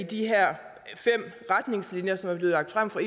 de her fem retningslinjer som er blevet lagt frem for